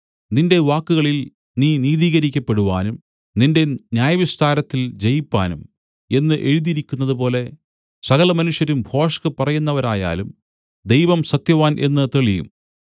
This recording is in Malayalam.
ഒരുനാളും ഇല്ല നിന്റെ വാക്കുകളിൽ നീ നീതീകരിക്കപ്പെടുവാനും നിന്റെ ന്യായവിസ്താരത്തിൽ ജയിപ്പാനും എന്നു എഴുതിയിരിക്കുന്നതുപോലെ സകലമനുഷ്യരും ഭോഷ്ക് പറയുന്നവരായാലും ദൈവം സത്യവാൻ എന്നു തെളിയും